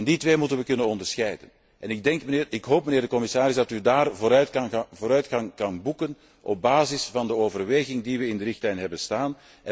Die twee moeten we kunnen onderscheiden. Ik hoop, mijnheer de commissaris, dat we op dat punt vooruitgang kunnen boeken op basis van de overweging die we in de richtlijn hebben staan.